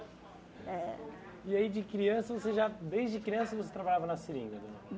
É. E aí de criança, você já desde criança você trabalhava na seringa?